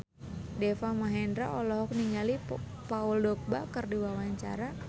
Deva Mahendra olohok ningali Paul Dogba keur diwawancara